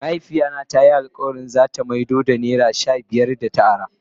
Mahaifiya na ta yi alkawali za ta maido da naira shabiyar da ta ara.